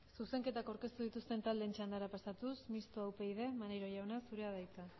zuzenketak aurkeztu dituzten taldeen txandara pasatuz mistoa upyd maneiro jauna zurea da hitza